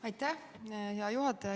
Aitäh, hea juhataja!